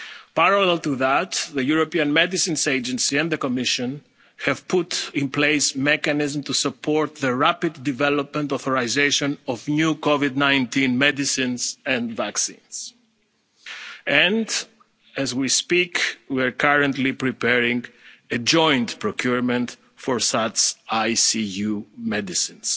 medicines. Parallel to that, the European Medicines Agency and the Commission have put in place a mechanism to support the rapid development and authorisation of new COVID 19 medicines and vaccines and, as we speak, we are currently preparing a joint procurement for such intensive care unit